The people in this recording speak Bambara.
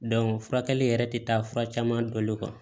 furakɛli yɛrɛ tɛ taa fura caman balo kan